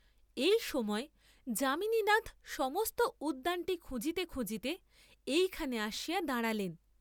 এই সময় যামিনীনাথ সমস্ত উদ্যানটি খুঁজিতে খুঁজিতে এই খানে আসিয়া দাঁড়ালেন।